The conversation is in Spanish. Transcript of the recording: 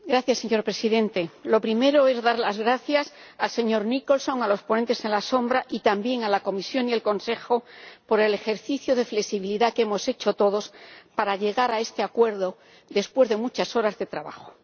Señor Presidente, lo primero es dar las gracias al señor Nicholson, a los ponentes alternativos y, también, a la Comisión y el Consejo, por el ejercicio de flexibilidad que hemos hecho todos para llegar a este acuerdo, después de muchas horas de trabajo.